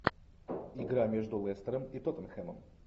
игра между лестером и тоттенхэмом